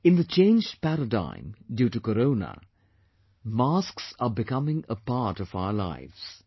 In the changed paradigm due to Corona, masks are becoming a part of our lives